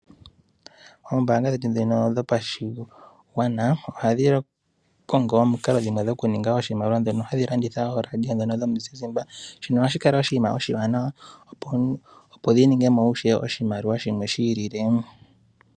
Oombaanga dhetu ndhino dhopashigwana, ohadhi kongo omikalo dhimwe dhoku ninga oshimaliwa, ndhono hadhi landitha wo ooRadio ndhono dhomuziizimba. Shino ohashi kala wo oshiwanawa opo dhi ninge mo ishewe oshimaliwa shimwe shi ilile.